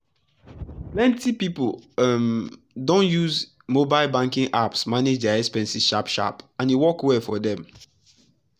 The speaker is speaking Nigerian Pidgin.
plenty people um don use mobile banking apps manage their expenses sharp-sharp and e work well for dem.